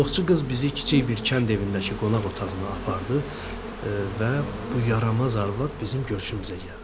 Qulluqçu qız bizi kiçik bir kənd evindəki qonaq otağına apardı və bu yaramaz arvad bizim görüşümüzə gəldi.